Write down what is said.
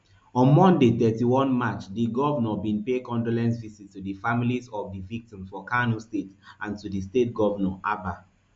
on monday thirty-one march di govnor bin pay condolence visits to di families of di victims for kano state and to di state govnor abba